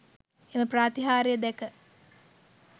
එම ප්‍රාතිහාර්ය දැක